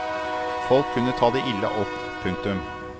Folk kunne ta det ille opp. punktum